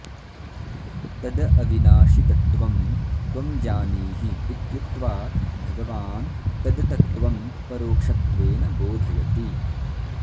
तद् अविनाशि तत्त्वं त्वं जानीहि इत्युक्त्वा भगवान् तद् तत्त्वं परोक्षत्वेन बोधयति